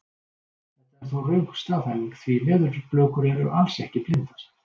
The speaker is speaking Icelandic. Þetta er þó röng staðhæfing því leðurblökur eru alls ekki blindar!